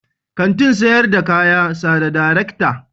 Kantin sayar da kaya sa da darekta.